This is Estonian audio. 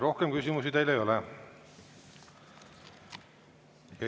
Rohkem küsimusi teile ei ole.